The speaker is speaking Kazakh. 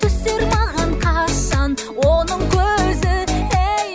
түсер маған қашан оның көзі ей